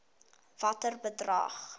watter bedrag